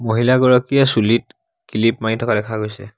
মহিলা গৰাকীয়ে চুলিত কিলিপ মাৰি থকা দেখা গৈছে।